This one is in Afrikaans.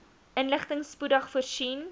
inligting spoedig voorsien